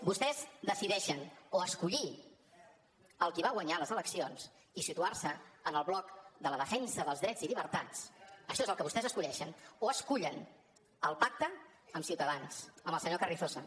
vostès decideixen o escollir qui va guanyar les eleccions i situar se en el bloc de la defensa dels drets i llibertats això és el que vostès escullen o escullen el pacte amb ciutadans amb el senyor carrizosa